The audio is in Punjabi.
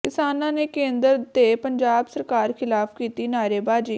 ਕਿਸਾਨਾਂ ਨੇ ਕੇਂਦਰ ਤੇ ਪੰਜਾਬ ਸਰਕਾਰ ਖਿਲਾਫ ਕੀਤੀ ਨਾਅਰੇਬਾਜ਼ੀ